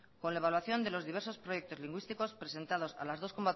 con la evaluación de los diversos proyectos lingüísticos presentados a las dos